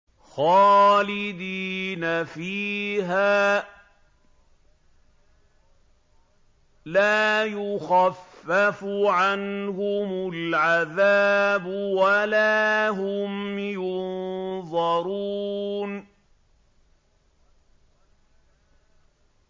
خَالِدِينَ فِيهَا ۖ لَا يُخَفَّفُ عَنْهُمُ الْعَذَابُ وَلَا هُمْ يُنظَرُونَ